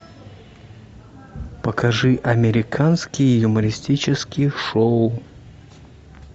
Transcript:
покажи американские юмористические шоу